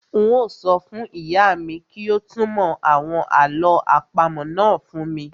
Un ó sọ fún ìyá mi kí ó túnmọ̀ àwọn àlọ́ àpamọ́ náà fún mi